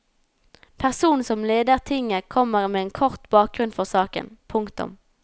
Personen som leder tinget kommer med en kort bakgrunn for saken. punktum